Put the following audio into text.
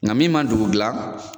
Nka min ma dugu dilan.